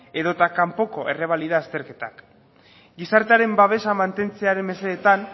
edota kanpoko errebalida azterketak gizartearen babesa mantentzearen mesedetan